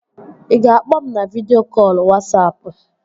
Ị ga-akpọ m na vidịo kọlụ Wasapụ?